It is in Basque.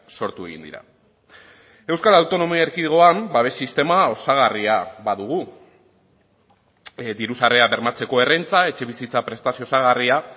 sortu egin dira euskal autonomia erkidegoan babes sistema osagarria badugu diru sarrerak bermatzeko errenta etxebizitza prestazio osagarria